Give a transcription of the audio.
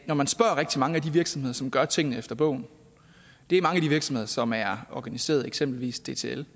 når man spørger rigtig mange af de virksomheder som gør tingene efter bogen det er mange af de virksomheder som er organiseret eksempelvis dtl